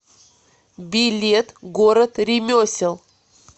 билет город ремесел